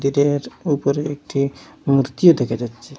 টের উপরে একটি মূর্তিও দেখা যাচ্ছে।